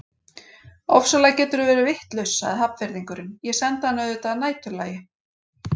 Ofsalega geturðu verið vitlaus sagði Hafnfirðingurinn, ég sendi hana auðvitað að næturlagi